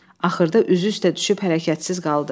Axırda üzü üstə düşüb hərəkətsiz qaldı.